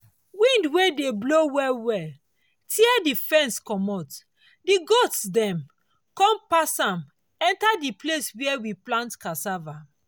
wind wey dey blow well well tear the fence commot the goats dem con dey pass am enter the place where we plant cassava.